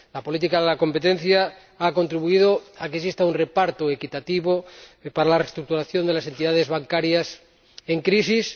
La política de competencia ha contribuido a que exista un reparto equitativo para la reestructuración de las entidades bancarias en crisis.